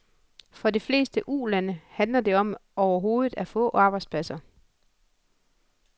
For de fleste ulande handler det om overhovedet at få arbejdspladser.